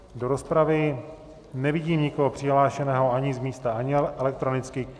Do rozpravy nevidím nikoho přihlášeného ani z místa, ani elektronicky.